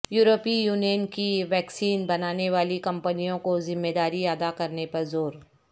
یورپی یونین کی ویکسین بنانے والی کمپنیوں کو ذمہ داری ادا کرنے پر زور